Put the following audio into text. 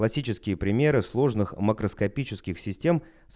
классические примеры сложных макроскопических систем